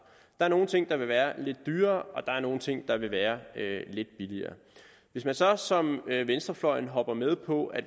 er nogle ting der vil være lidt dyrere og der er nogle ting der vil være lidt billigere hvis man så som venstrefløjen hopper med på at